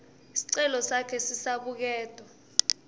sicelo sakhe sisabuketwa